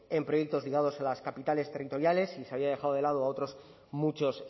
en proyectos ligados a las capitales territoriales y se había dejado de lado a otros muchos